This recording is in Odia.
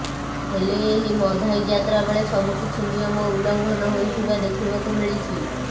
ହେଲେ ଏହି ମଧାଇ ଯାତ୍ରା ବେଳେ ସବୁକିଛି ନିୟମ ଉଲ୍ଲଙ୍ଘନ ହୋଇଥିବା ଦେଖିବାକୁ ମିଳିଛି